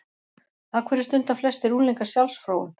Af hverju stunda flestir unglingar sjálfsfróun?